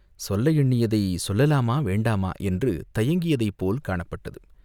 சொல்ல எண்ணியதைச் சொல்லலாமா, வேண்டாமா என்று தயங்கியதைப் போல் காணப்பட்டது.